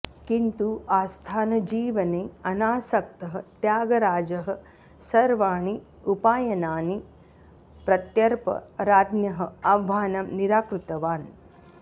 किन्तु आस्थानजीवने अनासक्तः त्यागराजः सर्वाणि उपायनानि प्रत्यर्प्य राज्ञः आह्वानं निराकृतवान्